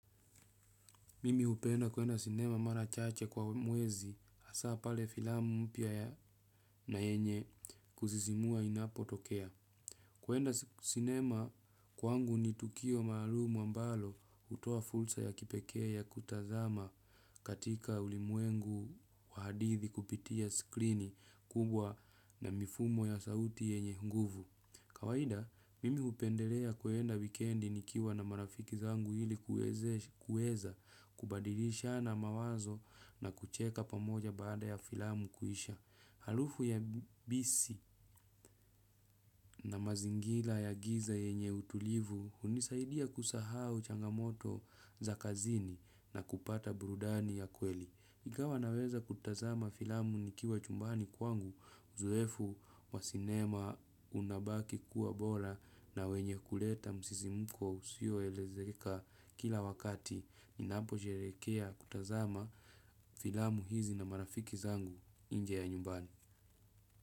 Mimi hupenda kuenda sinema mara chache kwa mwezi hasaa pale filamu mpya ya na yenye kusisimua inapotokea. Kuenda sinema kwangu ni tukio maalum ambalo hutoa fursa ya kipekee ya kutazama katika ulimwengu wa hadithi kupitia skrini kubwa na mifumo ya sauti yenye nguvu. Kawaida, mimi hupendelea kuenda wikendi nikiwa na marafiki zangu ili kuweza kubadilishana mawazo na kucheka pamoja baada ya filamu kuisha. Harufu ya bisi na mazingira ya giza yenye utulivu hunisaidia kusahau changamoto za kazini na kupata burudani ya kweli. Ingawa naweza kutazama filamu nikiwa chumbani kwangu, uzoefu wa sinema unabaki kuwa bora na wenye kuleta msisimuko usioelezeka kila wakati. Ninaposherekea kutazama filamu hizi na marafiki zangu nje ya nyumbani.